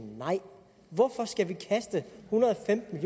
nej hvorfor skal vi kaste en hundrede og femten